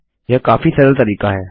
यह काफी सरल तरीका है